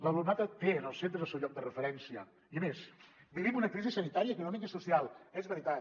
l’alumnat té en els centres el seu lloc de referència i a més vivim una crisi sanitària econòmica i social és veritat